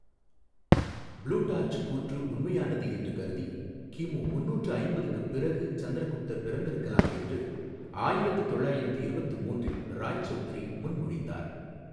Plutarch கூற்று உண்மையானது என்று கருதி, கிமு முந்நூற்று ஐம்பதுக்கு பிறகு சந்திரகுப்தர் பிறந்திருக்கலாம் என்று ஆயிரத்து தொள்ளாயிரத்து இருபத்து மூன்றில் ராய்சௌதுரி முன்மொழிந்தார்.